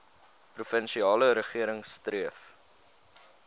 provinsiale regering streef